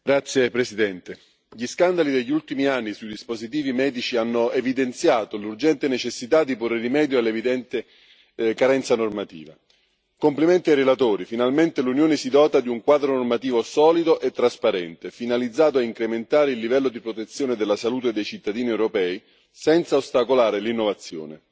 Signor Presidente, onorevoli colleghi, gli scandali degli ultimi anni sui dispositivi medici hanno evidenziato l'urgente necessità di porre rimedio all'evidente carenza normativa. Complimenti ai relatori finalmente l'Unione si dota di un quadro normativo solido e trasparente finalizzato a incrementare il livello di protezione della salute dei cittadini europei senza ostacolare l'innovazione.